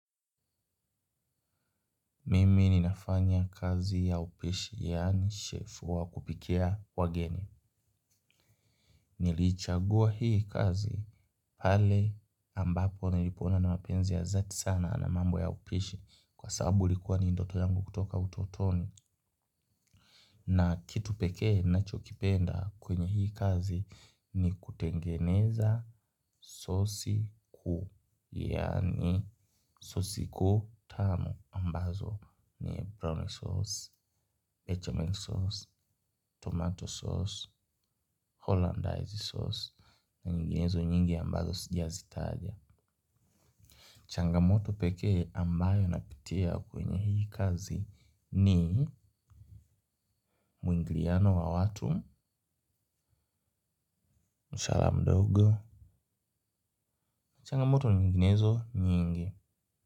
Mimi ninafanya kazi ya upishi, yaani chef wa kupikia wageni. Niliichagua hii kazi pale ambapo nilipoona na mapenzi ya zati sana na mambo ya upishi kwa sababu ilikuwa ni ndoto yangu kutoka utotoni. Na kitu pekee nachokipenda kwenye hii kazi ni kutengeneza sosi, yaani sosi kuu tamu ambazo ni roy sauce, bechamel sauce, tomato sauce, hollandaise sauce na nyinginezo nyingi ambazo sijazitaja. Changamoto pekee ambayo napitia kwenye hii kazi ni mwingiliano wa watu. Mshahara mdogo, changamoto nyinginezo nyingi.